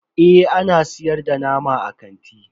Eh ana siyar da nama a kanti.